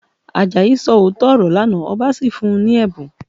Àjàyí sọ òótọ́ ọ̀rọ̀ lánàá, ọba sì fún un ní ẹ̀bùn